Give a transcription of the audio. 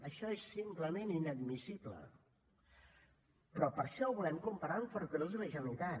això és simplement inadmissible però per això ho volem comparar amb ferrocarrils de la generalitat